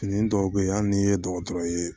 Fini dɔw bɛ yen hali n'i ye dɔgɔtɔrɔ ye